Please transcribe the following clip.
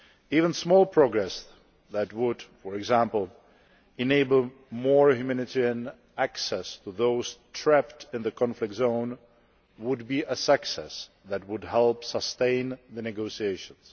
Even small progress that would, for example, enable more humanitarian access to those trapped in the conflict zones would be a success which would help to sustain the negotiations.